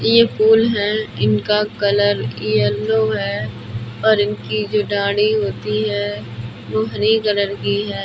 यह फूल है। इनका कलर येलो है और इनकी जो डाढ़ी होती है वह हरे कलर की है।